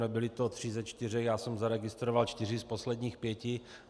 Nebyli to tři ze čtyř, já jsem zaregistroval čtyři z posledních pěti.